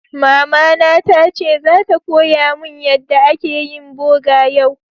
Mama na ta ce zata koya mun yadda ake yin boga yau.